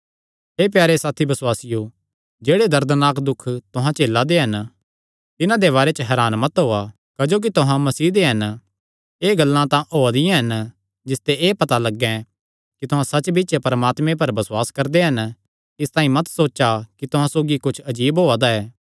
हे प्यारे साथी बसुआसियो जेह्ड़े दर्दनाक दुख तुहां झेलदे हन तिन्हां दे बारे च हरान मत होआ क्जोकि तुहां मसीह दे हन एह़ गल्लां तां होआ दियां हन जिसते एह़ पता लग्गैं कि तुहां सच्च बिच्च परमात्मे पर बसुआस करदे हन इसतांई मत सोचा कि तुहां सौगी कुच्छ अजीब होआ दा ऐ